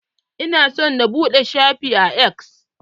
Ina so na buɗe shafi a X.